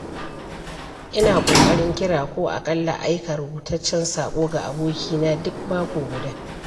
Ina ƙoƙarin kira ko aƙalla aika rubutaccen saƙo ga abokaina duk mako guda.